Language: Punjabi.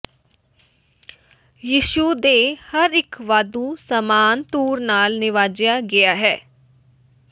ਯਿਸੂ ਦੇ ਹਰ ਇੱਕ ਵਾਧੂ ਸਾਮਾਨ ਧੁਰ ਨਾਲ ਨਿਵਾਜਿਆ ਗਿਆ ਹੈ